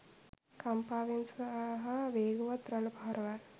කම්පාවන් සහ වේගවත් රළ පහරවල්